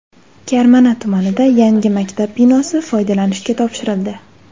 Karmana tumanida yangi maktab binosi foydalanishga topshirildi.